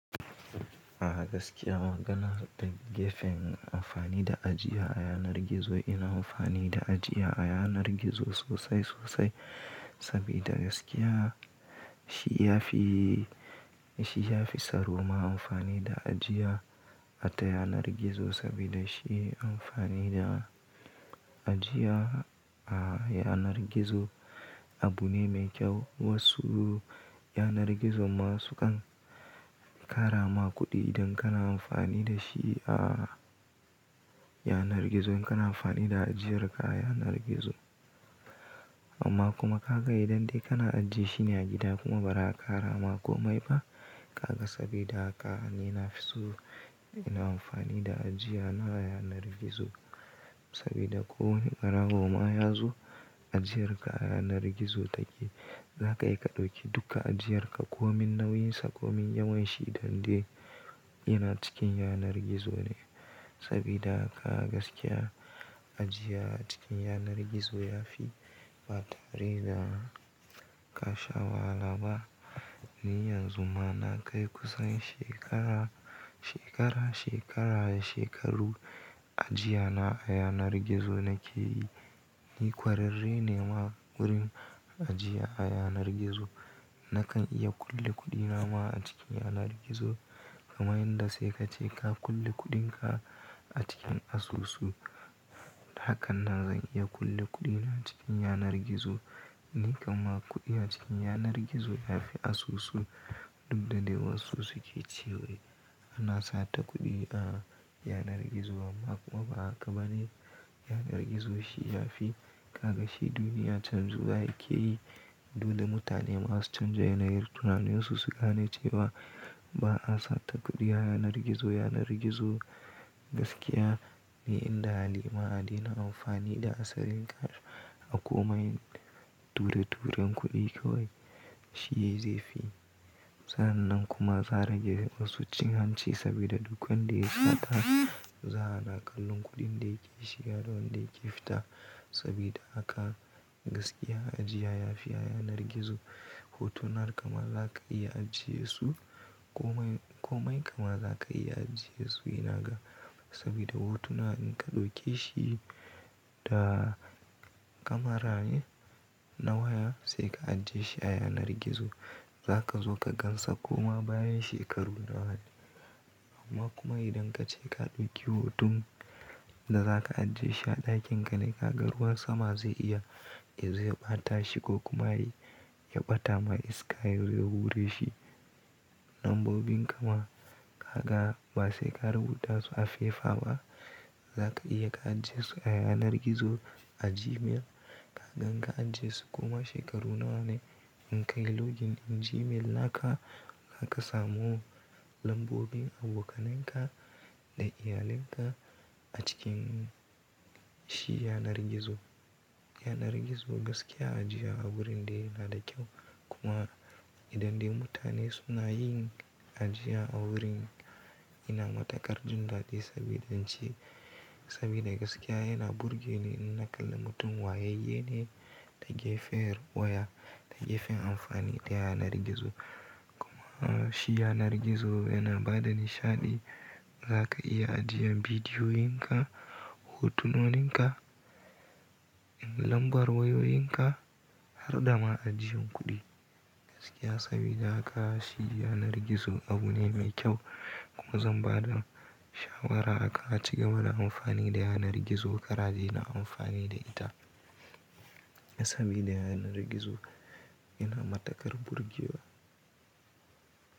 A gaskiya maganar da gefen amfani da ajiya a yanar gizo ina amfani da ajiya a yanar gizo sosai sosai sabida gaskiya shi ya fi, shi ya fi tsaro ma amfani da ajiya akan yanar gizo sabida shi amfani da ajiya a yanar gizo abu ne mai kyau. Wasu yanar gizo masu kan kara ma kuɗi idan kana amfani da shi a yanar gizo in kana amfani da ajiyar ka a yanar gizo. Amma kuma ka ga idan dai kana ajiye shine a gida kuma bara a kara ma komai ba. Kaka sabida haka nina fi so ina amfani da ajiya na a yanar gizo sabida ko barawo ma yazo ajiyar ka a yanar gizo take. Zaka iya ka ɗauki duka ajiyar ka komin nauyinsa komin yawanshi idan dai yana cikin yanar gizo ne sabida haka gaskiya ajiya a cikin yanar gizo yafi batare da ka sha wahala ba. Ni yanzu ma na kai kusan shekara, shekara, shekara da shekaru ajiyana a yanar gizo nake yi. Ni kwararre ne ma wurin ajiya a yanar gizo. Nakan iya kulle kuɗina ma a cikin yanar gizo kamar yadda sai ka ce ka kulle kuɗinka a cikin asusu. Da hakan nan zan iya kulle kuɗina cikin yanar gizo. Ni kamma kuɗi a cikin yanar gizo yafi asusu duk da dai wasu suke cewa ana satar kuɗi a yanar gizo amma kuma ba haka bane. Yanar gizo shi yafi, ka ga shi duniya can zuwa yake yi duk da mutane ma su canja yanayi tunanin su gano cewa ba'a satar kuɗi a yanar gizo. Yanar gizo gaskiya ne inda hali ma adena amfani da asalin kash a komai. Ture-turen kuɗi kawai shi ze fi. Sa'an nan kuma za'a rage wasu cin hanci sabida duk wanda ya sata za ana kalla kuɗin da yake shiga da wanda yake fita sabida haka gaskiya ajiya yafi a yanar gizo. Hotunan ka ma za ka iya ajiyesu komai komai kama za ka iya ajiyesu ina ga sabida hotuna in ka ɗauke shi da kamara na waya sai ka ajiye shi a yanar gizo. Zaka zo ka gansa koma bayan shekaru nawa. Amma kuma idan ka ce ka ɗauki hoton da za ka ajiye shi a ɗakin ka ne, ka ga ruwan sama ze iya zuwa ya bata shi ko kuma ya ɓata ma iska ya wure shi. Lambobin kama ka ga ba sai ka rubuta su a fefa ba. Zaka iya ka ajiyesu a yanar gizo a Gmail. Kaga in ka ajiyesu koma shekaru nawa ne in ka yi login in Gmail naka, zaka samu lambobin abokananka da iyalinka a cikin shi yanar gizo. Yanar gizo gaskiya ajiya a wurin dai yana da kyau kuma idan dai mutane suna yin ajiya a wurin yana matukar jindaɗi sabida ci sabida gaskiya yana burge ni in na kalla mutum wayayye ne ta gefe waya da gefen amfani da yanar gizo kuma shi yanar gizo yana bada nishaɗi. Zaka iya ajiyan bidiyoyin ka, hotunonin ka, lambar wayoyin ka har da ma ajiyan kuɗi gaskiya sabida haka shi yanar gizo abu ne mai kyau kuma zan bada shawara akan a cigaba da amfani da yanar gizo kar a daina amfani da ita sabida yanar gizo yana matukar burge wa.